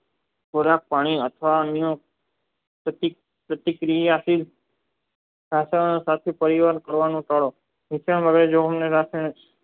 ખોરાક પાણી અથવા પ્રતિક્રિયા થી સસનો સાથે તૈયાર ભાલાનો કરો જે તે